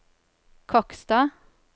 Kokstad